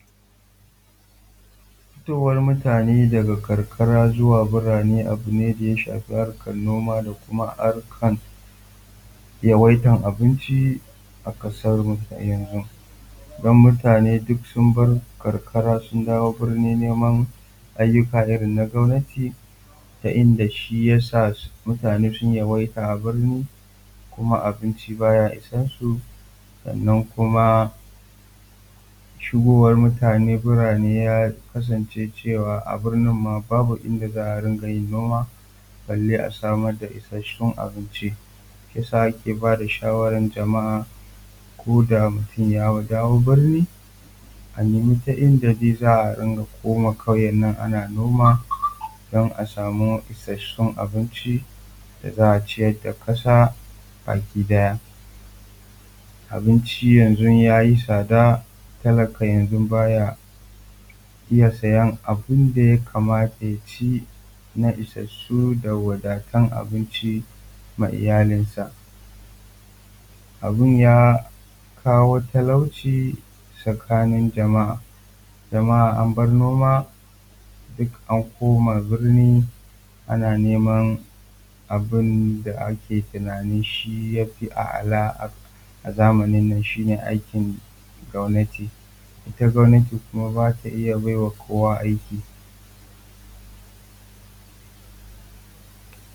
Fitowar mutane daga karkara zuwa birane abu ne da ya shafi harkar noma da kuma harkar yawaitar abin ci a kasarmu a yanzu. Don mutane duk sun bar karkara sun dawo burni neman ayyuka irin na gwamnati ta inda shi ya sa mutane sun yawaita a burni kuma abinci baya isansu. Sannan kuma shigowa mutane zuwa burni ya kasance a burnin ma babu ida za a riƙa yin noma balle ma a samu abinci, shi ya sa ake ba da shawarar jama'a ko da mutum ya dawo burni a nema ta inda za a koma kauye nan ana noma don a samu isasshen abinci da za a ciyar da ƙasa baki daya. Abunci ya zo ya yi tsada talaka yanzu ba ya iya sayan abun da ya kamata ya ci na isassu da wadattu na abinci wa iyalinsa. Abun ya kawo talauci tsakanin jama'a, jama'a an bar noma duk an koma burni ana neman abun da ake tunanin shi ya fi a'ala a zamanin shi ne aiki gwamnati. It gwamnati ba ta iya baiwa kowa aiki.